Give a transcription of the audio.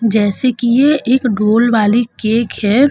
जैसे कि ये एक डोल वाली केक है।